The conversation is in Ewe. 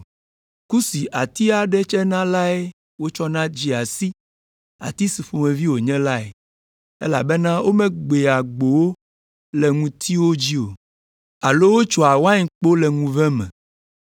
Ku si ati aɖe tsena lae wotsɔna dzea si ati si ƒomevi wònye lae; elabena womegbea gbowo le ŋutiwo dzi o, alo wotsoa wainkpo le ŋuve me.